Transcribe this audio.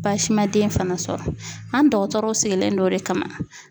Baasi ma den fana sɔrɔ , an dɔgɔtɔrɔw sigilen don o de kama.